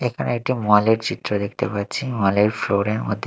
এখানে একটি মল -এর চিত্র দেখতে পাচ্ছি মল -এর ফ্লোর -এর মধ্যে--